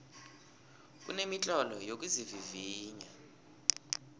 kunemitlolo yokuzivivinya